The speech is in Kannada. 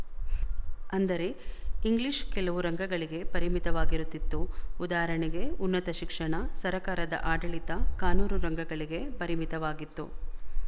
ಅಂದರೆ ಇಂಗ್ಲಿಶ ಕೆಲವು ರಂಗಗಳಿಗೆ ಪರಿಮಿತವಾಗಿರುತ್ತಿತ್ತು ಉದಾಹರಣೆಗೆ ಉನ್ನತ ಶಿಕ್ಷಣ ಸರಕಾರದ ಆಡಳಿತ ಕಾನೂನು ರಂಗಗಳಿಗೆ ಪರಿಮಿತವಾಗಿತ್ತು